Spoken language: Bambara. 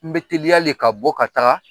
N bɛ teliyalen ka bɔ ka taaga